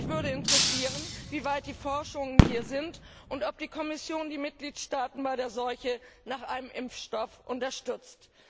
Mich würde interessieren, wie weit die Forschungen hier sind und ob die Kommission die Mitgliedstaaten bei der Suche nach einem Impfstoff unterstützt.